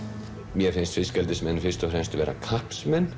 mér finnst fiskeldismenn fyrst og fremst vera